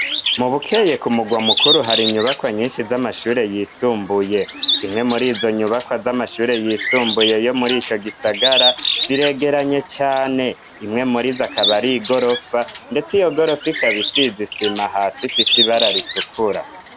Mu bukeye ku mugwa mukuru hari nyubakwa nyinshi z'amashure yisumbuye zimwe muri izo nyubakwa z'amashure yisumbuye yo muri ico gisagara ziregeranye cyane imwe muri zakabari igorofa ndetse iyo gorofa ikabisi izisima hasi ifise ibara ritukura.